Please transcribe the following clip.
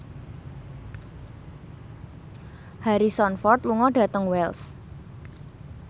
Harrison Ford lunga dhateng Wells